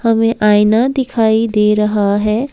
आईना दिखाई दे रहा है।